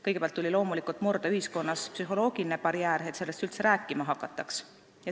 Kõigepealt tuli loomulikult murda ühiskonnas psühholoogiline barjäär, et sellest üldse rääkima hakataks.